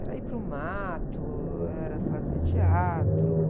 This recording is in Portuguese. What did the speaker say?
Era ir para o mato, ou era fazer teatro.